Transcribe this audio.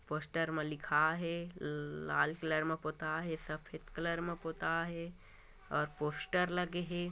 Poster मा लिखाय हे लल लाल कलर मा पोताय हे सफेद कलर मा पोताय हे अउ पोस्टर लगे हे।